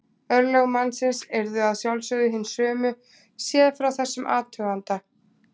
Örlög mannsins yrðu að sjálfsögðu hin sömu séð frá þessum athuganda.